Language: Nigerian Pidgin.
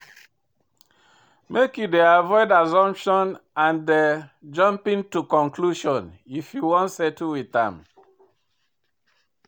Make you dey avoid assumption and jumping to conclusion if you wan settle wit am.